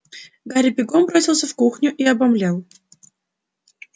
гарри бегом бросился в кухню и обомлел